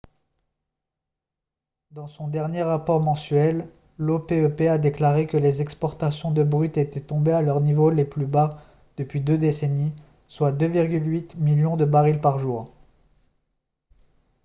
dans son dernier rapport mensuel l'opep a déclaré que les exportations de brut étaient tombées à leur niveau le plus bas depuis deux décennies soit 2,8 millions de barils par jour